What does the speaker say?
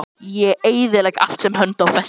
Ég eyðilegg allt sem hönd á festir.